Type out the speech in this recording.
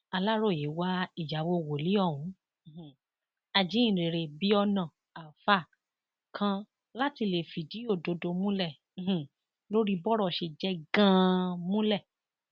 aláròye wá ìyàwó wòlíì ohun um ajíhìnrere biona alfa kan láti lè fìdí òdodo múlẹ um lórí bọrọ ṣe jẹ ganan múlẹ